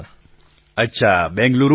પ્રધાનમંત્રી અચ્છા બેંગ્લુરુમાં જ છો